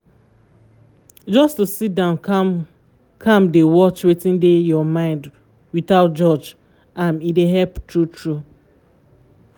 just to sit down calm-calm dey watch wetin dey your mind without judge am e dey help true-true